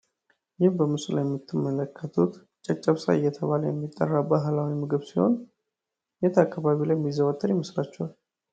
ይህ በምስሉ ላይ የምትመለከቱት ጨብጨብሳ እየተባለ የሚጠራ ባህላዊ ምግብ ሲሆን የት አካባቢ ላይ ሚዘወተር ይመስላችኋል?